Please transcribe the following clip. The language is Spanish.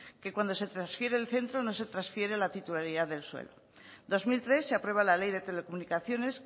que cuando se transfiere el centro no se transfiere la titularidad del suelo en dos mil tres se aprueba la ley de telecomunicaciones